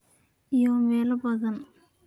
iyo meelo badan.